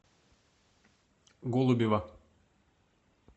голубева